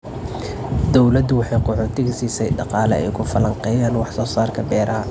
Dawladdu waxay qaxootiga siisay dhaqaale ay ku falanqeeyaan wax soo saarka beeraha.